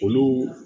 Olu